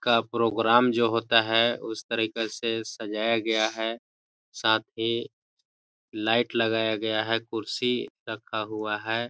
-- का प्रोग्राम जो होता है उस तरीका से सजाया गया है साथ ही लाइट लगाया गया है कुर्सी रखा हुआ हैं।